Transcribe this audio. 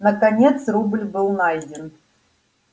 наконец рубль был найден